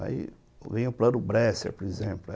Aí vinha o Plano Bresser, por exemplo.